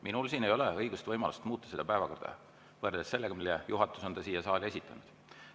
Minul ei ole õigust ega võimalust muuta seda päevakorda võrreldes sellega, mille juhatus on siia saali esitanud.